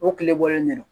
O tile bɔlen de do